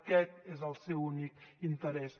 aquest és el seu únic interès